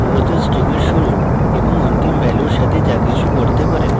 মূলত string এ শুরুর এবং অন্তিম ভ্যালুর সাথে যা কিছু বদলাতে পারেন